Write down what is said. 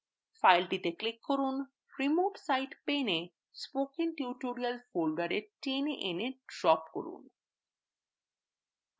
ফাইলটিতে click করুন remote site pane এ spokentutorial folder pane এনে drop করুন